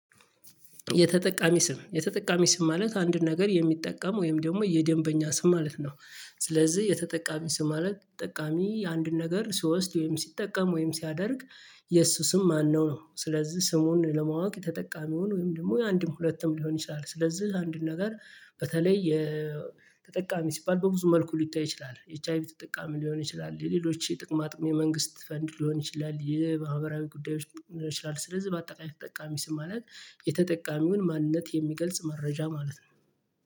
የተጠቃሚ ስም የተጠቃሚ ስም ማለት አንድ ነገር የሚጠቀም ወይም ደግሞ የደንበኛ ስም ማለት ነው። ስለዚህ የተጠቃሚ ስም ማለት ተጠቃሚ አንድን ነገር ሲወስድ ወይም ሲጠቀም ወይም ሲያደርግ የሱ ስም ማነው ነው? ስለዚህ ስሙን ለማወቅ ተጠቃሚውን ወይም ደግሞ የአንድም ሁለትም ሊሆን ይችላል። ስለዚህ አንድን ነገር በተለይ የተጠቃሚ ሲባል በብዙ መልኩ ሊታይ ይችላል ኤች አይ ቪ ተጠቃሚ ሊሆን ይችላል የሌሎች የጥቅማ ጥቅም የመንግስት ፈንድ ሊሆን ይችላል። የማህበራዊ ጉዳዮች ሊሆን ይችላል ስለዚህ በአጠቃላይ ተጠቃሚ ስም ማለት የተጠቃሚውን ማንነት የሚገልጽ መረጃ ማለት ነው